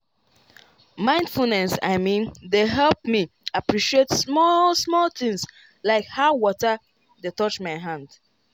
mindfulness i mean dey help me appreciate small-small things like how water dey touch my hand.